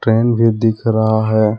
Fan भी दिख रहा है।